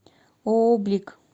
ооо блик